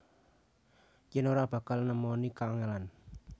Yen ora bakal nemoni kangelan